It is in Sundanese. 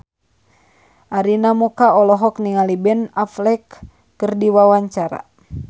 Arina Mocca olohok ningali Ben Affleck keur diwawancara